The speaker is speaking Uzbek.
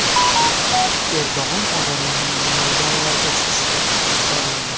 Erdo‘g‘on odamlarni maydonlarga chiqishga chorladi.